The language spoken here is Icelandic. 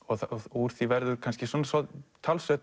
úr því verður kannski talsvert